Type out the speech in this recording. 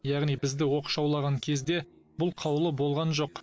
яғни бізді оқшаулаған кезде бұл қаулы болған жоқ